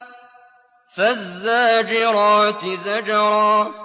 فَالزَّاجِرَاتِ زَجْرًا